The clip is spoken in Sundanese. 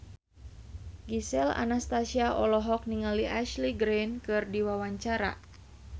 Gisel Anastasia olohok ningali Ashley Greene keur diwawancara